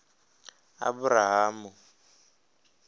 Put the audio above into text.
aburahamu